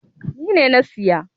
Ni ne na siya.